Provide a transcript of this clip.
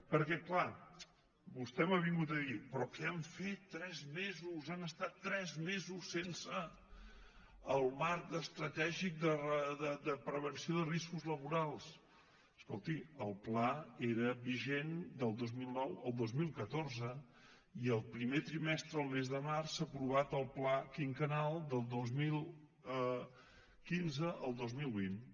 perquè clar vostè m’ha vingut a dir però què han fet tres mesos han estat tres mesos sense el marc estratègic de prevenció de riscos laborals escolti el pla era vigent del dos mil nou al dos mil catorze i el primer trimestre el mes de març s’ha aprovat el pla quinquennal del dos mil quinze al dos mil vint